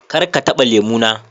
kar ka taba lemu na.